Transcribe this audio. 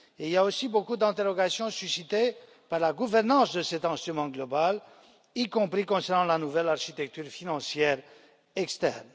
Il y a aussi beaucoup d'interrogations suscitées par la gouvernance de cet instrument global, y compris concernant la nouvelle architecture financière externe.